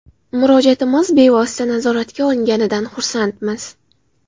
Murojaatimiz bevosita nazoratga olinganidan xursandmiz.